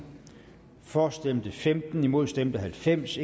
for stemte femten imod stemte halvfems